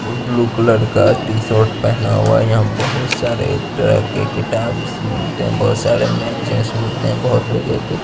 ये blue colour का T-shirt पहना हुआ है यहाँ बहुत सारे तरह के किताब मिलते हैं बहुत तरह के मैगजींस मिलते हैं बहुत तरीके के--